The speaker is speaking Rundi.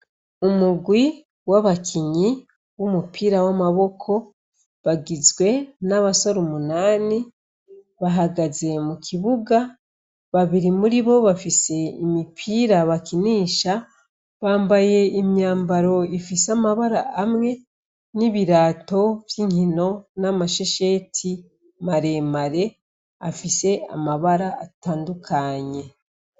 Umugwi w'abakinyi w'umupira w'amaboko bagizwe n'abasore umunani bahagaze mu kibuga, babiri muri bo bafise imipira bakinisha, bambaye imyambaro ifise amabara amwe, n'ibirato vy'inkino, n'amashesheti maremare afise amabara atandukanye.